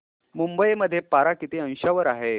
मुंबई मध्ये पारा किती अंशावर आहे